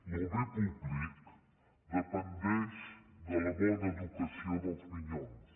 lo bé públic dependeix de la bona educació dels minyons